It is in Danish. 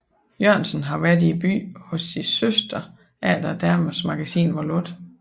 Jørgensen har været i byen hos sin søster efter Damernes Magasin er lukket